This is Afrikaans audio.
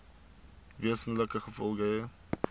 wesenlike gevolge hê